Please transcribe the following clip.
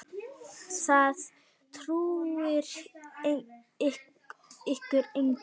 Það trúir ykkur enginn!